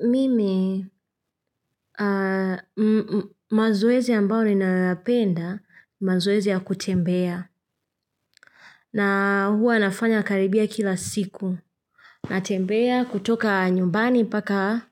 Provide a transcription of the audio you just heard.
Mimi, mazoezi ambao ninayoyapenda, mazoezi ya kutembea. Na huwa nafanya karibia kila siku. Natembea kutoka nyumbani paka